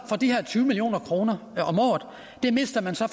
for de her tyve million kroner om året det mister man så